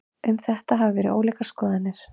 Um þetta hafa verið ólíkar skoðanir.